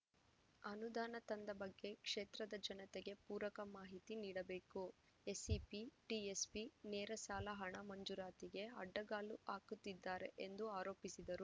ಅನುದಾನ ತಂದ ಬಗ್ಗೆ ಕ್ಷೇತ್ರದ ಜನತೆಗೆ ಪೂರಕ ಮಾಹಿತಿ ನೀಡಬೇಕು ಎಸ್‌ಸಿಪಿ ಟಿಎಸ್‌ಪಿ ನೇರಸಾಲ ಹಣ ಮಂಜೂರಾತಿಗೆ ಅಡ್ಡಗಾಲು ಹಾಕುತ್ತಿದ್ದಾರೆ ಎಂದು ಆರೋಪಿಸಿದರು